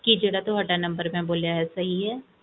ਕੀ ਜਿਹੜਾ ਤੁਹਾਡਾ ਮੈਂ ਬੋਲਿਆ ਹੈ ਸਹੀ ਹੈ